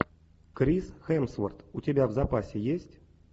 крис хемсворт у тебя в запасе есть